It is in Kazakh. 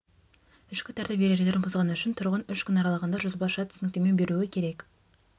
ішкі тәртіп ережелерін бұзғаны үшін тұрғын үш күн аралығында жазбаша түсініктеме беруі керек